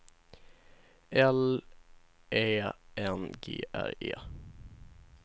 L Ä N G R E